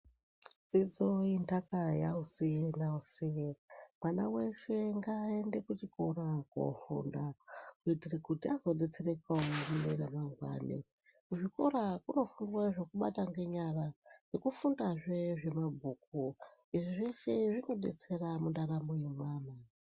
Dzidzo intaka Yaosi naosi mwana weshe ngaende kuchikora kofunda kuitire kuti azodetserekawo mune ramangwani kuzvikora kunofundwe zvukabatwe ngenyara nekufundazve zvemabhuku izvi zveshe zvinodetsera muntaramo yevanhu.